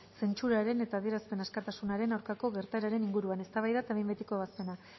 zentsuraren eta adierazpen askatasunaren aurkako gertaeren inguruan eztabaida eta behin betiko ebazpena